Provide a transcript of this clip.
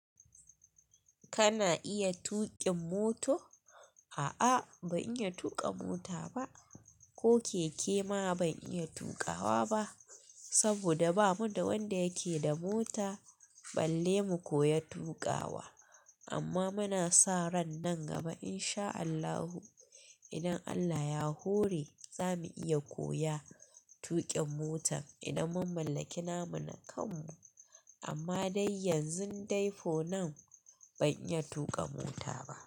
Kana iya tuƙin moto? A'a ban iya tuƙa mota ba, ko keke ma ban iya tuƙawa ba saboda ba mu da wanda yake da mota balle mu koyi tuƙawa amma muna sa ran nan gaba in sha Allahu idan Allah ya hore za mu iya koya tuƙin mota idan mun mallaki namu na kanmu. Amma dai yanzun dai for now ban iya tuƙa mota ba.